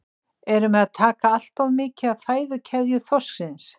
Erum við að taka allt of mikið af fæðukeðju þorsksins?